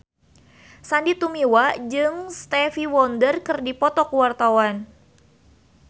Sandy Tumiwa jeung Stevie Wonder keur dipoto ku wartawan